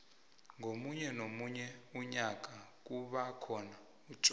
komunye nomunye umnyanya kubakhona utjwala